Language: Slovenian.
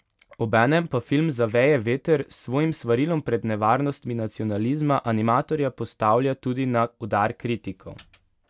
Obenem pa film Zaveje veter s svojim svarilom pred nevarnostmi nacionalizma animatorja postavlja tudi na udar kritikov.